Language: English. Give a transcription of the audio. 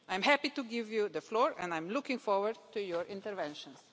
I am happy to give you the floor and I am looking forward to your interventions.